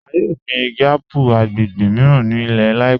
A yọ̀ gbin igi àpù agbègbè míran ni ilẹ̀ láìpẹ̀